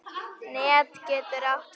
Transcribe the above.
Net getur átt við